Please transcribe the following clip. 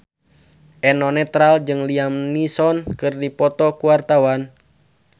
Eno Netral jeung Liam Neeson keur dipoto ku wartawan